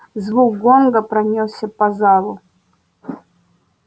звук гонга пронёсся по залу